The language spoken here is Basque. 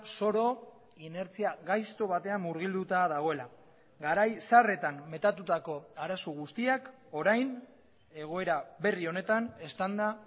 zoro inertzia gaizto batean murgilduta dagoela garai zaharretan metatutako arazo guztiak orain egoera berri honetan eztanda